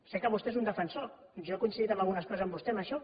sé que vostè n’és un defensor jo he coincidit en algunes coses amb vostè amb això